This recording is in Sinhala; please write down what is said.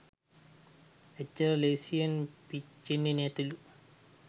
එච්චර ලේසියෙන් පිච්චෙන්නෙ නැතිලු.